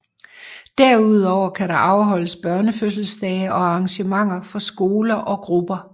Derudover kan der afholdes børnefødselsdage og arrangementer for skoler og grupper